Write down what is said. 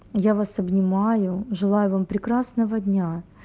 я вас обнимаю желаю вам прекрасного дня